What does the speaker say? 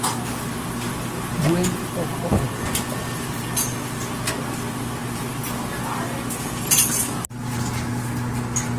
gwe okohero koko